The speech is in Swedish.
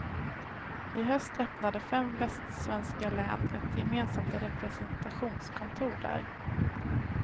I höst öppnade fem västsvenska län ett gemensamt representationskontor där.